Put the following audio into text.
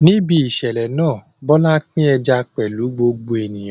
Níbi ìṣẹ̀lẹ̀ náà, Bola pín ẹja pẹ̀lú gbogbo ènìyàn.